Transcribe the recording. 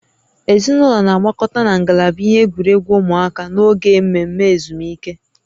Ezinụlọ na-agbakọta na ngalaba ihe egwuregwu ụmụaka n'oge mmemme ezumike